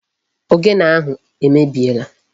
Ogene ahụ emebiela.